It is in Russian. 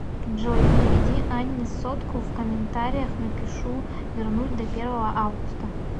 джой переведи анне сотку в комментариях напишу вернуть до первого августа